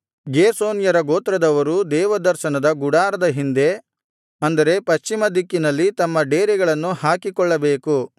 ಗೇರ್ಷೋನ್ಯರ ಗೋತ್ರದವರು ದೇವದರ್ಶನದ ಗುಡಾರದ ಹಿಂದೆ ಅಂದರೆ ಪಶ್ಚಿಮ ದಿಕ್ಕಿನಲ್ಲಿ ತಮ್ಮ ಡೇರೆಗಳನ್ನು ಹಾಕಿಕೊಳ್ಳಬೇಕು